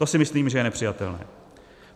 To si myslím, že je nepřijatelné.